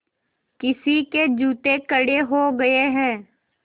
किसी के जूते कड़े हो गए हैं